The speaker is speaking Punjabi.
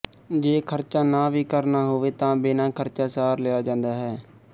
ਜੇ ਖਰਚਾ ਨਾ ਵੀ ਕਰਨਾ ਹੋਵੇ ਤਾਂ ਬਿਨਾਂ ਖਰਚਾ ਸਾਰ ਲਿਆ ਜਾਂਦਾ ਹੈ